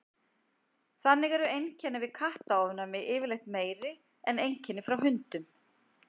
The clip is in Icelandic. þannig eru einkenni við kattaofnæmi yfirleitt meiri en einkenni frá hundum